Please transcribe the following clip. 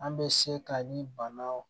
An bɛ se ka ni bana